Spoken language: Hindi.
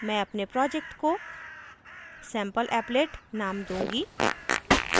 मैं अपने project को sampleapplet name दूँगी